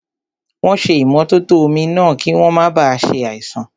Wọ́n ṣé ìmótótó omi náà, kí wọ́n máa ba ṣe àìsàn